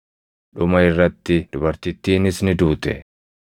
Dhuma irratti dubartittiinis ni duute.